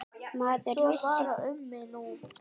Maður vissi hvar maður hafði það.